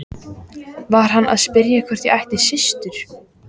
Var hann að spyrja hvort ég ætti systur?